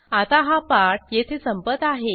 आता हा पाठ येथे संपत आहे